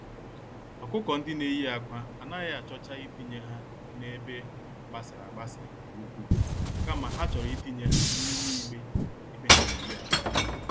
ọkụkọ-ndị-neyi-ákwà anaghị achọcha itinye ha n'ebe gbasara-agbasa nke ukwu, kama ha chọrọ itinye ha n'ime igbe ebe ha geyi ákwà.